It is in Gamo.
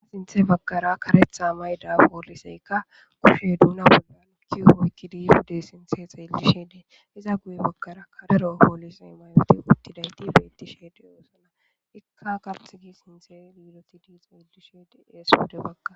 Sinthe bagkara karetha mayda pooliseykka kushe duuna bollan kiufoykkidifude sinthe xeellishe dee iza guye bagkara kadaro poolisey may'oti uttidayti beettisheede oosana ikka kapthigi sinthe yiidosidi xeyeishede eesiwode baggaa.